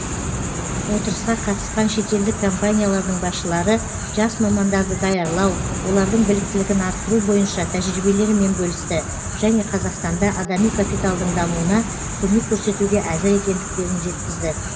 отырысқа қатысқан шетелдік компаниялардың басшылары жас мамандарды даярлау олардың біліктілігін арттыру бойынша тәжірибелерімен бөлісті және қазақстанда адами капиталдың дамуына көмек көрсетуге әзір екендіктерін жеткізді